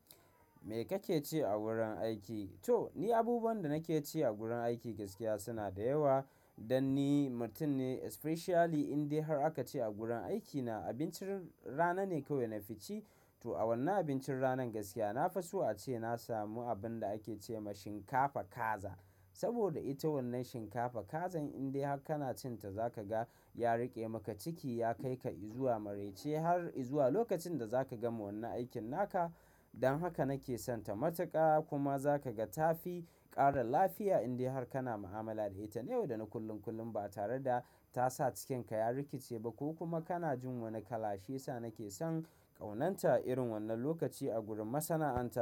Me kake ci a gurin aiki? To ni abubuwan da nake ci a gurin aiki gaskiya suna da yawa. Dan ni mutum ne especially indai har aka ce a gurin aikina abincin rana ne kawai na fici. To a wannan abincin ranan gaskiya na fi so ace na samu abun da ake ce ma shinkafa kaza. Saboda ita wannan shinkafa kazan indai har kana cin ta za ka ga ya riƙe maka ciki, ya kai ka izuwa maraice har izuwa lokacin da za ka gama wannan aikin naka. Dan haka nake son ta matuƙa kuma za ka ga ta fi ƙara lafiya indai har kana ma'amala da ita. Yau da na kullum kullum ba tare da ta sa cikin ka ya rikice ba ko kuma kana jin wani kalashe. Cewa nake son ƙaunanta irin wannan lokaci a gurin masana'anta.